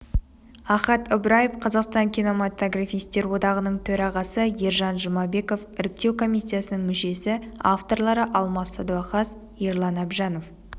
ахат ыбраев қазақстан киноматографистер одағының төрағасы ержан жұмабеков іріктеу комиссиясының мүшесі авторлары алмас садуақас ерлан әбжанов